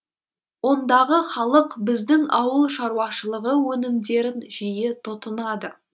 ондағы халық біздің ауыл шаруашылығы өнімдерін жиі тұтынады